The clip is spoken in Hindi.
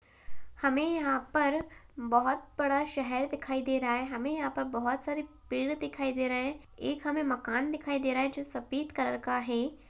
हमें यहाँ पर बोहोत बड़ा शहर दिखाई दे रहा है | हमें यहाँ पर बहुत सारे पेड़ दिखाई दे रहे हैं | एक हमे मकान दिखाई दे रहा जो सफ़ेद कलर का है ।